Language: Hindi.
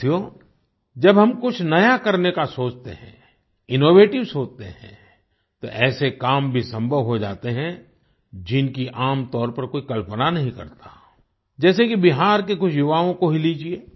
साथियो जब हम कुछ नया करने का सोचते हैं इनोवेटिव सोचते हैं तो ऐसे काम भी संभव हो जाते हैं जिनकी आमतौर पर कोई कल्पना नहीं करता जैसे कि बिहार के कुछ युवाओं को ही लीजिये